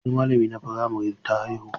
Wani malamina na firamare ta haihu.